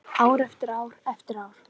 Ár eftir ár eftir ár.